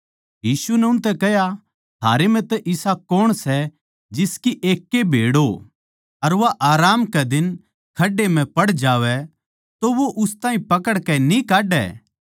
यीशु नै उनतै कह्या थारै म्ह तै इसा कौण सै जिसकी एक ए भेड़ हो अर वा आराम कै दिन खडहे म्ह पड़ जावै तो वो उस ताहीं पकड़कै न्ही काड्डै